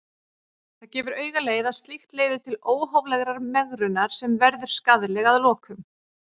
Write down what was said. Það gefur augaleið að slíkt leiðir til óhóflegrar megrunar sem verður skaðleg að lokum.